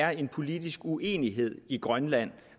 er en politisk uenighed i grønland